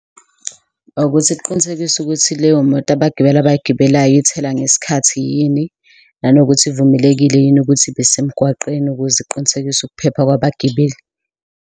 Ukuthi kuqinisekiswe ukuthi leyo moto abagibeli abayigibelayo ithela ngesikhathi yini nanokuthi ivumelekile yini ukuthi ibesemgwaqeni ukuze iqinisekise ukuphepha kwabagibeli.